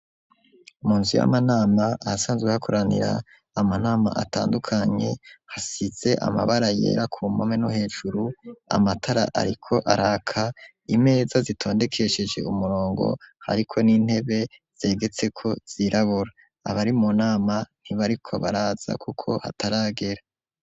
Munzu yamanama ahasanzwe hakoranira amanama atandukanye hasize amabara yera ku mpome no hejuru. Amatara ariko araka imeza zitondekesheje umurongo ariko n'intebe zegetse ko zirabora abari munama ntibariko baraza kuko hataragera.